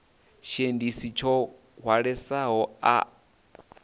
tshiendisi tsho hwalesaho a a